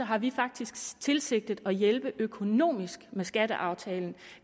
har vi faktisk tilsigtet at hjælpe økonomisk med skatteaftalen